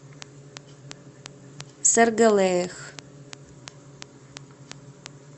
сэргэлээх